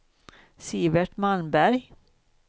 Sivert Malmberg